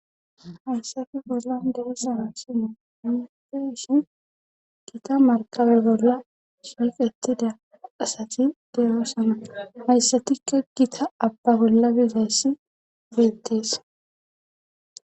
hayssati bollan deisana sine inufe ishin gita markabe bolla siiqetida asati derosama hayssatikka gita abba bolla biizayssi beettes